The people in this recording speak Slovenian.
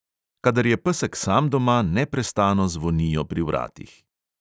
Kadar je pesek sam doma, neprestano zvonijo pri vratih.